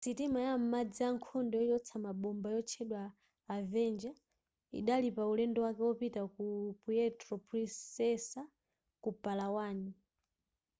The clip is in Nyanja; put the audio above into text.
sitima ya m'madzi yankhondo yochotsa mabomba yotchedwa avenger idali paulendo wake wopita ku puerto princesa ku palawan